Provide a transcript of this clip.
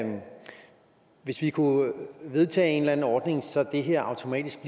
hvis vi kunne vedtage en eller anden ordning så det her automatisk